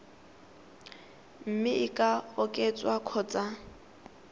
mme e ka oketswa kgotsa